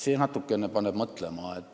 See paneb natuke mõtlema.